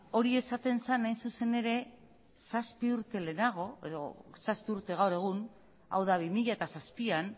hori esaten zen hain zuzen ere zazpi urte lehenago edo zazpi urte gaur egun hau da bi mila zazpian